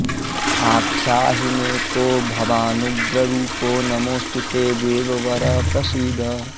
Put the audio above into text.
आख्याहि मे को भवानुग्ररूपो नमोऽस्तु ते देववर प्रसीद